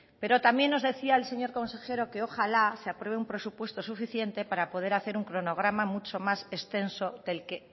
pero también nos decía el señor consejero que ojalá se apruebe un presupuesto suficiente para poder hacer un cronograma mucho más extenso del que